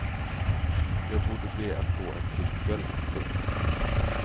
Jag borde be att få en trippel. punkt